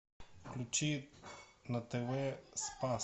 включи на тв спас